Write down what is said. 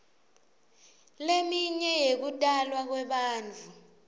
leminye yekutalwa kwebantfu